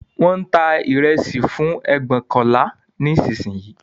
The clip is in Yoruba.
Wón ń ta ìrẹsì fún ẹgbóokànlá nísìnyí